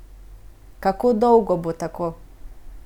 Kako dolgo bo tako?